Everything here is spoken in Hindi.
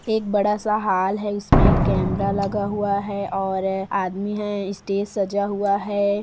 एक बड़ा सा हॉल है इसमें कैमरा लगा हुआ है और आदमी हैं स्टेज सजा हुआ है।